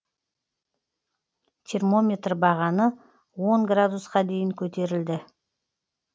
термометр бағаны он градусқа дейін көтерілді